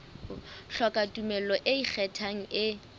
hloka tumello e ikgethang e